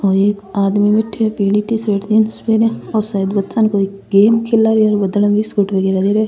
और एक आदमी बैठिया है पीली टीसर्ट जींस पेरा औ शायद बच्चा न कोई गेम खेला रो है बिस्कुट वगेरा दे रो है।